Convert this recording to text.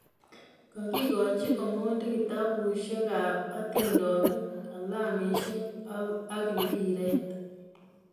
Kagigooch Omondi kitabushek kab hatindonik, kalamushek ago mpiret